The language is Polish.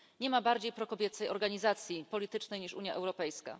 Nie ma bardziej prokobiecej organizacji politycznej niż Unia Europejska.